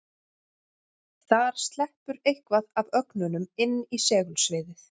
Þar sleppur eitthvað af ögnunum inn í segulsviðið.